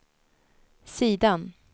sidan